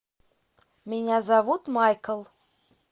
меня зовут майкл